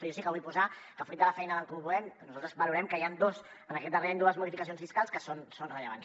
però jo sí que vull posar que fruit de la feina d’en comú podem nosaltres valorem que hi han en aquest darrer any dues modificacions fiscals que són rellevants